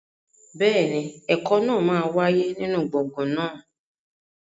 Bẹ́ẹ̀ni, ẹ̀kọ́ náà máa wáyé nínú gbọ̀ngàn náà.